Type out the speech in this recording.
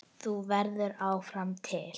Þú verður áfram til.